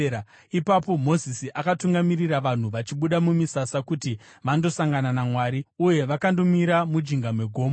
Ipapo Mozisi akatungamirira vanhu vachibuda mumisasa kuti vandosangana naMwari, uye vakandomira mujinga megomo.